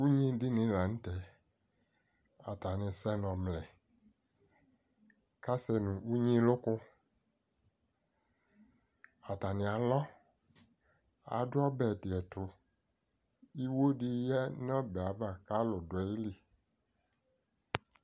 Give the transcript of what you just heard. ʋnyiɖini la nʋ tɛ, atani sɛnʋ ɔvlɛ, k'asɛ nʋ unyilukʋ, atani alɔAɖʋ ɔbɛɖiɛtʋIhɣoni yea nʋ ɔbɛava k'alʋ ɖʋ ayili